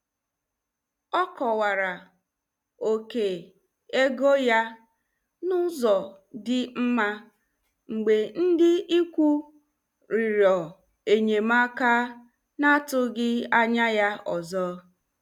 Ọ kọwara oke ego ya n'ụzọ dị mma mgbe ndị ikwu rịọrọ enyemaka na-atụghị anya ya ọzọ.